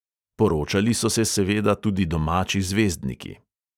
Poročali so se seveda tudi domači zvezdniki.